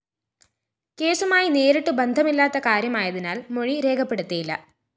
കേസുമായി നേരിട്ടു ബന്ധമില്ലാത്ത കാര്യമായതിനാല്‍ മൊഴി രേഖപ്പെടുത്തിയില്ല